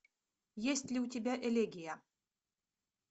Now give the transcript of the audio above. есть ли у тебя элегия